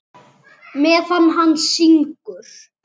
Meðan hann syngur.